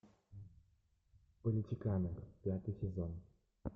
политиканы пятый сезон